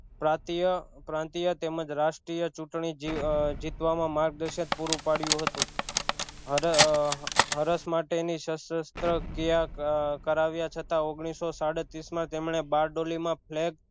પ્રાતીય પ્રાંત્ય તેમજ રાષ્ટ્રીય ચુંટણી જી જીતવા માં માર્ગદશન પૂરું પડ્યું હતું હરસ માટે ની સશસ્ત્ર ક્રિયા કરાવ્યા છતાં ઓગનીશો સાડત્રીશ માં તેમણે બારડોલી માં ફ્લે